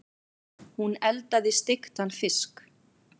Hún eldaði steiktan fisk.